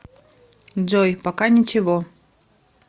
джой пока ничего